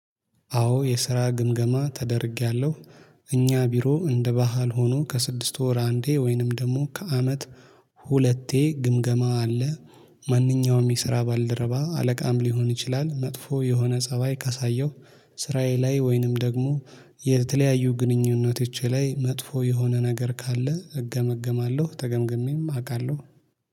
አዎ የስራ ግምገማ ተደርጌያለሁ እኛ ቢሮ እንደ ባህል ሆኖ ከስድስት ወር አንዴ ወይንም ደግሞ ከአመት ሁለቴ ግምገማ አለ። ማንኛውም የስራ ባልደረባ አለቃም ሊሆን ይችላል መጥፎ የሆነ ፀባይ ካሳየው ስራዬ ላይ ወይንም ደግሞ የተለያዩ ግንኙነቶቼ ላይ መጥፎ የሆነ ነገር ካለ እገመገማለሁ። ተገምግሜም አውቃለሁ